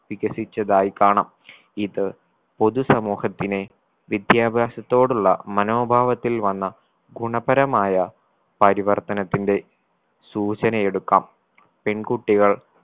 വികസിച്ചതായി കാണാം. ഇത് പൊതു സമൂഹത്തിനെ വിദ്യാഭ്യാസത്തോടുള്ള മനോഭാവത്തിൽ വന്ന ഗുണപരമായ പരിവർത്തനത്തിന്റെ സൂചനയെടുക്കാം പെൺകുട്ടികൾ